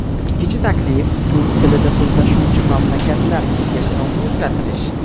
Ikkinchi taklif Turk tilida so‘zlashuvchi mamlakatlar kengashi nomini o‘zgartirish.